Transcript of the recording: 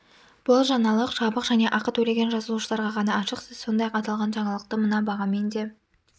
бұл жаңалық жабық және ақы төлеген жазылушыларға ғана ашық сіз сондай-ақ аталған жаңалықты мына бағамен де